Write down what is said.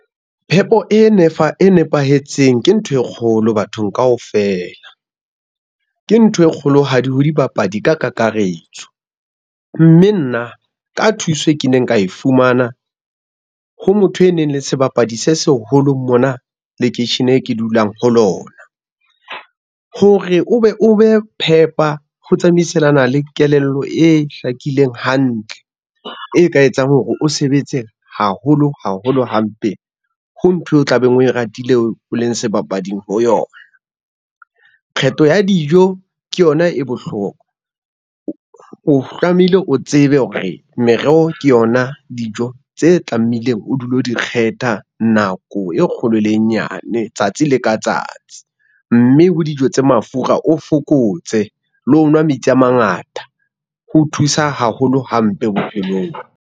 Phepo e nepahetseng ke ntho e kgolo bathong kaofela, ke ntho e kgolohadi ho dibapadi ka kakaretso. Mme nna ka thuso eo ke neng ka e fumana, ho motho e neng e le sebapadi se seholo mona lekeisheneng e ke dulang ho lona. Hore o be o be phepha ho tsamaisana le kelello e hlakileng hantle, e ka etsang hore o sebetse haholo haholo hampe ho ntho eo o tlabeng, oe ratile o leng sebapadi ho yona. Kgetho ya dijo ke yona e bohlokwa o tlamehile o tsebe hore mereho ke yona dijo tse tlamehileng o dule o di kgetha nako e kgolo le e nyane tsatsi le ka tsatsi, mme ho dijo tse mafura o fokotse le ho nwa metsi a mangata, ho thusa haholo hampe bophelong.